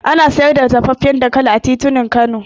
Ana siyar da dafaffen dankali a titunan Kano